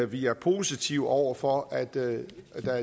vi er positive over for at der